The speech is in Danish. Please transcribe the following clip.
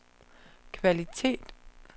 kvalitet